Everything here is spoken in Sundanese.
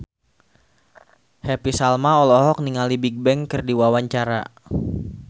Happy Salma olohok ningali Bigbang keur diwawancara